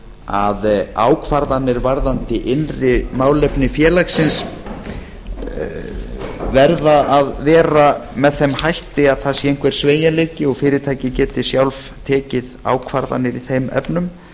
að ákvarðanir varðandi innri málefni félagsins verða að vera með þeim hætti að það sé einhver sveigjanleiki og fyrirtæki geti sjálf tekið ákvarðanir í þeim efnum